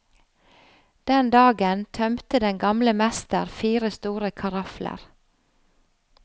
Den dagen tømte den gamle mester fire store karafler.